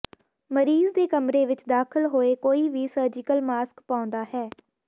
ਮਰੀਜ਼ ਦੇ ਕਮਰੇ ਵਿਚ ਦਾਖਲ ਹੋਏ ਕੋਈ ਵੀ ਸਰਜੀਕਲ ਮਾਸਕ ਪਾਉਂਦਾ ਹੈ